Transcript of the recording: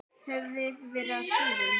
Höfðum verið á skíðum.